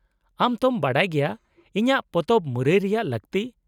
-ᱟᱢ ᱛᱚᱢ ᱵᱟᱰᱟᱭ ᱜᱮᱭᱟ ᱤᱧᱟᱹᱜ ᱯᱚᱛᱚᱵ ᱢᱩᱨᱟᱹᱭ ᱨᱮᱭᱟᱜ ᱞᱟᱹᱠᱛᱤ ᱾